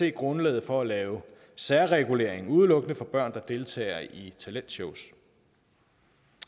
er grundlag for at lave særregulering udelukkende for børn der deltager i talentshows